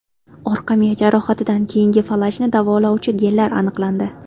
Orqa miya jarohatidan keyingi falajni davolovchi genlar aniqlandi.